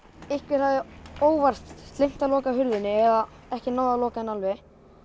einhver hafði óvart gleymt að loka hurðinni eða ekki náð að loka henni alveg